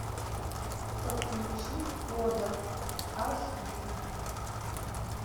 подключи кодер аш ди